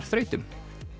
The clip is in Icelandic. þrautum